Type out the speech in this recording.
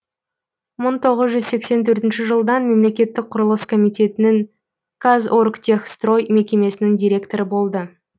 мың тоғыз жүз сексен төртінші жылдан мемлекеттік құрылыс комитетінің казоргтехстрой мекемесінің директоры болды